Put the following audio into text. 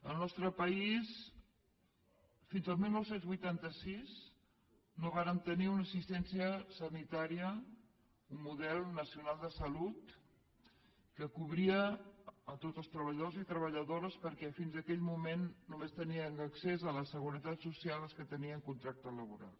al nostre país fins al dinou vuitanta sis no vàrem tenir una assistència sanitària un model nacional de salut que cobria tots els treballadors i treballadores perquè fins aquell moment només tenien accés a la seguretat social els que tenien contracte laboral